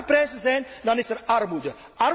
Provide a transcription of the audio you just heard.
Als er lage prijzen zijn, dan is er armoede.